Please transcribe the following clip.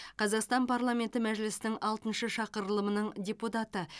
қазақстан парламенті мәжілісінің алтыншы шақырылымының депутаты